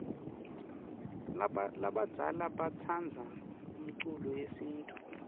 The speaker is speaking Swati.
labadzala batsandza umculo yesintfu